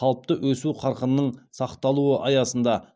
қалыпты өсу қарқынының сақталуы аясында